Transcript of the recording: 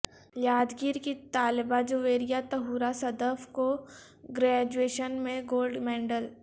یادگیرکی طالبہ جویریہ طہورا صدف کوگرئجویشن میں گولڈ میڈل